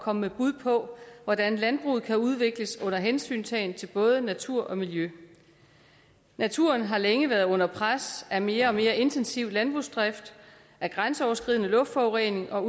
komme med bud på hvordan landbruget kan udvikles under hensyntagen til både natur og miljø naturen har længe været under pres af mere og mere intensiv landbrugsdrift af grænseoverskridende luftforurening og